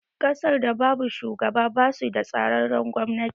Ƙasar da babu shugaba basu da tsararren gwamnati